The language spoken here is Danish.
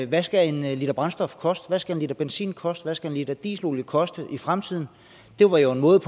hvad skal en liter brændstof koste hvad skal en liter benzin koste hvad skal en liter dieselolie koste i fremtiden det var jo en måde